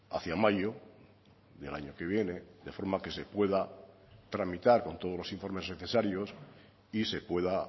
hacia mayo del año que viene de forma que se pueda tramitar con todos los informes necesarios y se pueda